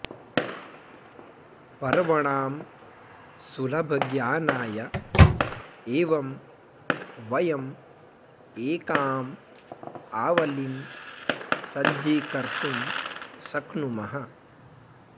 पर्वणां सुलभज्ञानाय एवं वयम् एकाम् आवलिं सज्जीकर्तुं शक्नुमः